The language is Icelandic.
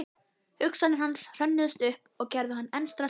Hugsanir hans hrönnuðust upp og gerðu hann enn stressaðri.